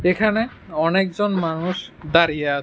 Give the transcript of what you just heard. এখানে অনেকজন মানুষ দাঁড়িয়ে আ--